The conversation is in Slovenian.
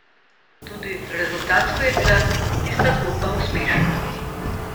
Tudi rezultatsko je bila tista zgodba uspešna.